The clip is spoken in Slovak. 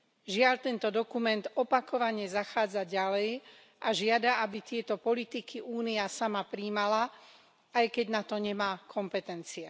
Žiaľ, tento dokument opakovane zachádza ďalej a žiada, aby tieto politiky Únia sama prijímala, aj keď na to nemá kompetencie.